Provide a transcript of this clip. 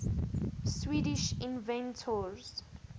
swedish inventors